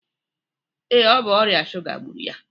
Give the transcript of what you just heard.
Ee, ọ bụ ọrịa shuga gburu ya